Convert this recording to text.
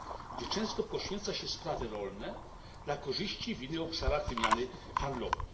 gdzie często poświęca się sprawy rolne dla korzyści w innych obszarach wymiany handlowej.